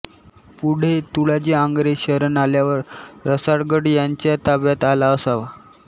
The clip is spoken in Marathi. पुढे तुळाजी आंग्रे शरण आल्यावर रसाळगड त्यांच्या ताब्यात आला असावा